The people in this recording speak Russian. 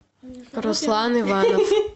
руслан иванов